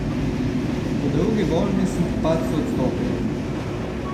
V drugi vožnji sem po padcu odstopil.